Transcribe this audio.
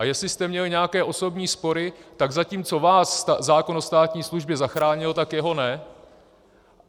A jestli jste měl nějaké osobní spory, tak zatímco vás zákon o státní službě zachránil, tak jeho ne.